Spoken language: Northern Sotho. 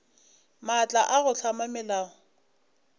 maatla a go hlama melao